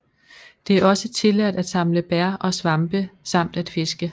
Det er også tilladt at samle bær og svampe samt at fiske